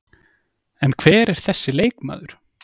En hver er þessi leikmaður?